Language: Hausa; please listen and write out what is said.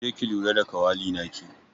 Ki je ki lura da kawali naki.